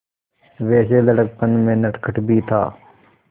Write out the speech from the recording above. वैसे लड़कपन में नटखट भी था